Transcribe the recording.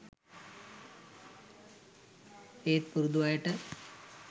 ඒත් පුරුදු අයට